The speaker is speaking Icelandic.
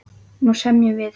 Nú semjum við!